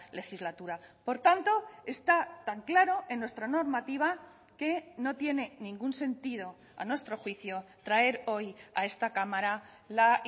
legislatura por tanto está tan claro en nuestra normativa que no tiene ningún sentido a nuestro juicio traer hoy a esta cámara la